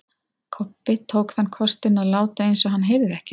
Kobbi tók þann kostinn að láta eins og hann heyrði ekkert.